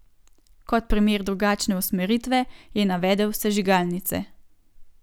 Kot primer drugačne usmeritve je navedel sežigalnice.